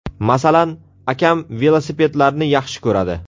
Masalan, akam velosipedlarni yaxshi ko‘radi.